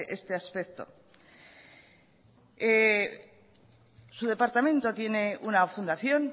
este aspecto su departamento tiene una fundación